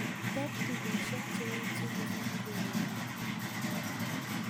Teb tugoshek che echen en korenyun